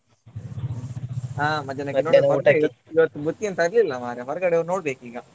ಇವತ್ತ್ ಬುತ್ತಿ ಎಂತ ತರ್ಲಿಲ್ಲ ಮಾರ್ರೆ ಹೊರ್ಗಡೆ ಹೋಗ್ ನೋಡ್ಬೇಕು ಈಗ.